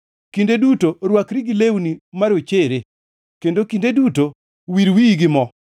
Kinde duto rwakri gi lewni marochere, kendo kinde duto wir wiyi gi mo.